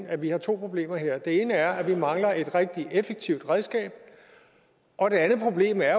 at vi har to problemer her det ene er at vi mangler et rigtig effektivt redskab og det andet problem er